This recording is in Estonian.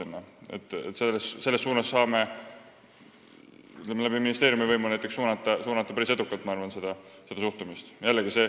Ma arvan, et me võime ministeeriumi kaudu päris edukalt seda suhtumist suunata.